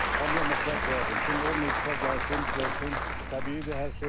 Hamıya məsləhət görərdim, kim olmayıbsa gəlsin, görsün, təbiidir hər şey.